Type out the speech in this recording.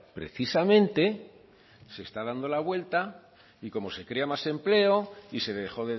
precisamente se está dando la vuelta y como se crea más empleo y se dejó